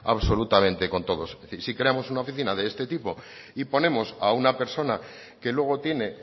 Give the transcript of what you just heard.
absolutamente con todos es decir si creamos una oficina de este tipo y ponemos a una persona que luego tiene